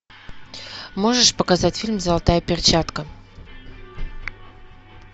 можешь показать фильм золотая перчатка